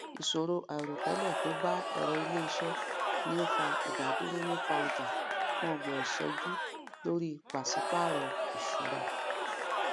ìṣòro àiròtẹlẹ to ba èrọ iléiṣẹ ni a o fa ìdádúró nipa ọja fún ọgbọn ìṣẹjú lori pasi paarọ ìṣúra